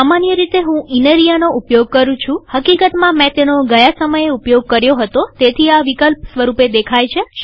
સામાન્ય રીતે હું ઇનરિયાનો ઉપયોગ કરું છુંહકીકતમાંમેં તેનો ગયા સમયે ઉપયોગ કર્યો હતો તેથી તે આ વિકલ્પ સ્વરૂપે દેખાય છે